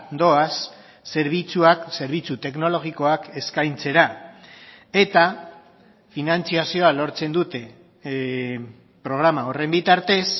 doaz zerbitzuak zerbitzu teknologikoak eskaintzera eta finantzazioa lortzen dute programa horren bitartez